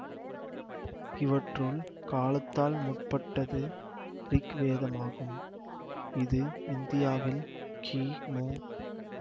இவற்றுள் காலத்தால் முற்பட்டது ரிக் வேதமாகும் இது இந்தியாவில் கிமு